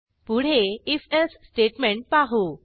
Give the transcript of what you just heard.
पुढे if else statement पाहू